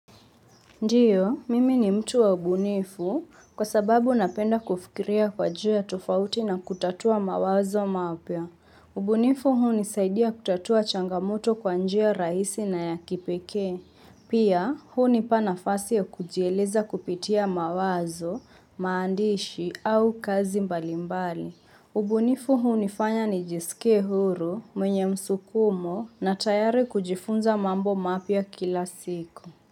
Ndiyo, mimi ni mtu wa ubunifu kwa sababu napenda kufikiria kwa jua tofauti na kutatua mawazo mapya. Ubunifu hunisaidia kutatua changamoto kwa njia rahisi na ya kipekee. Pia, hunipa nafasi ya kujieleza kupitia mawazo, maandishi au kazi mbalimbali. Ubunifu hunifanya nijisike huru, mwenye msukumo na tayari kujifunza mambo mapya kila siku.